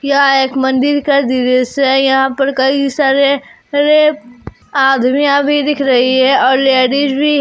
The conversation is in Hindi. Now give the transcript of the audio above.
यह एक मंदिर का दृश्य है यहां पर कई सारे अरे अदमीया भी दिख रही है और लेडीज भी--